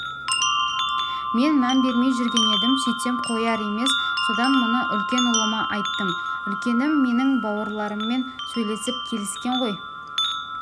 мен мән бермей жүрген едім сөйтсем қояр емес содан мұны үлкен ұлыма айттым үлкенім менің бауырларыммен сөйлесіп келіскен ғой